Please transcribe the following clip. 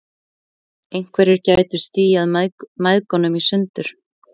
Einhverjir gætu stíað mæðgunum í sundur.